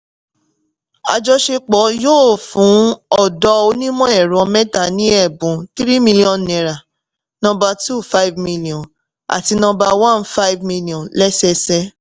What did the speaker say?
àjọṣepọ̀ yóò fún ọ̀dọ́ onímọ̀-ẹ̀rọ mẹ́ta ni ẹ̀bùn three million naira, number two, five million, àti number one, five million lẹ́sẹsẹ